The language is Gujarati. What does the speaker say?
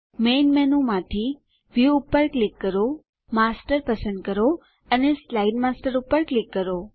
મેઇન મેનૂમાંથી વ્યૂ પર ક્લિક કરો માસ્ટર પસંદ કરો અને સ્લાઇડ માસ્ટર પર ક્લિક કરો